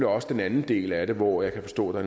også den anden del af det hvor jeg kan forstå at